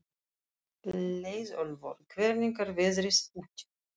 Leiðólfur, hvernig er veðrið úti?